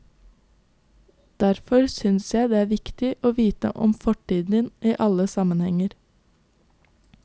Derfor synes jeg det er viktig å vite om fortiden i alle sammenhenger.